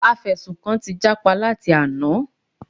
Afẹ̀sùnkàn ti jápa láti àná.